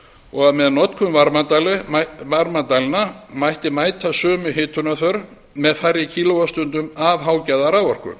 og að með notkun varmadælna mætti mæta sömu hitunarþörf með færri kíló vattstundum af hágæða raforku